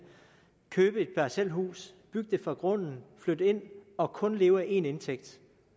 købe et parcelhus bygge det fra grunden flytte ind og kun leve af én indtægt